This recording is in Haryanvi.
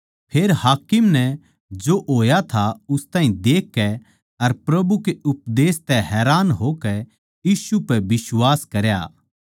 फेर हाकिम नै जो होया था उस ताहीं देखकै अर प्रभु के उपदेश तै हैरान होकै यीशु पै बिश्वास करया